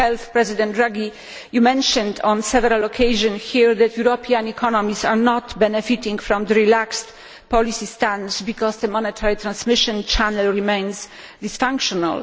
President Draghi has mentioned on several occasions here that European economies are not benefiting from the relaxed policy stance because the monetary transmission channel remains dysfunctional.